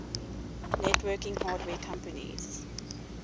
networking hardware companies